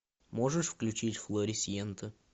можешь включить флорисьента